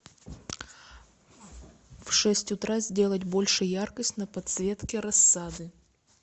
в шесть утра сделать больше яркость на подсветке рассады